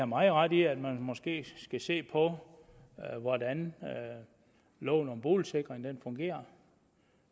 meget ret i at man måske skal se på hvordan loven om boligsikring fungerer